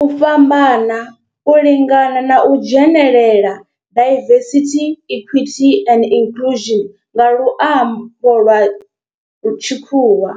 U fhambana, u lingana na u dzhenelela diversity, equity and inclusion nga lwambo lwa tshikhuwa